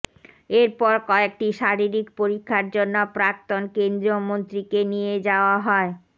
এরপর কয়েকটি শারীরিক পরীক্ষার জন্য প্রাক্তন কেন্দ্রীয় মন্ত্রীকে নিয়ে যাওয়া হয়